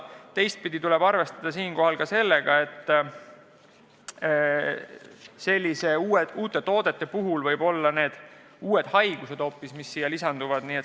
Teistpidi tuleb arvestada sellega, et selliste uute toodete puhul võivad mängu tulla hoopis uued haigused.